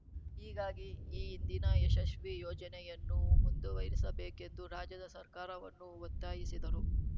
ಹೀಗಾಗಿ ಈ ಹಿಂದಿನ ಯಶಸ್ವಿ ಯೋಜನೆಯನ್ನು ಮುಂದುವರಿಸಬೇಕೆಂದು ರಾಜ್ಯದ ಸರ್ಕಾರವನ್ನು ಒತ್ತಾಯಿಸಿದರು